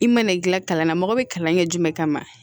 I mana gilan kalan na mɔgɔ bɛ kalan kɛ jumɛn kama